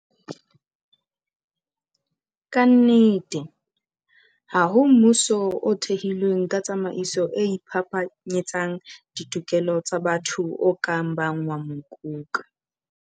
Ka nnete, ha ho mmuso o thehilweng ka tsamaiso e iphapanyetsang ditokelo tsa batho o ka bang wa mokoka.